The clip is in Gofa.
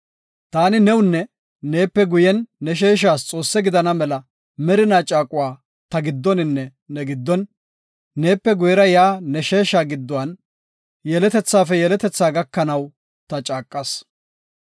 Taani newunne neepe guyen ne sheeshas Xoosse gidana mela merina caaquwa ta giddoninne ne giddon, neepe guyera yaa ne sheesha giddon, yeletethafe yeletetha gakanaw ta caaqas.